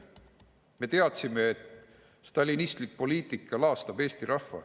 Me teadsime, et stalinistlik poliitika laastab eesti rahva.